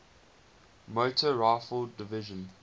motor rifle division